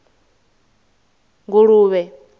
nguluvhe